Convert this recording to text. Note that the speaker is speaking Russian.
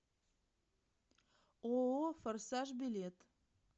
ооо форсаж билет